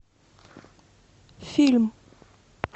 фильм